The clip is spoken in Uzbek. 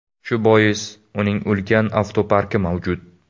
Shu bois uning ulkan avtoparki mavjud.